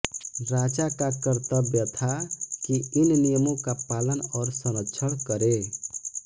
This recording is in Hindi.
राजा का कर्तव्य था कि इन नियमों का पालन और संरक्षण करे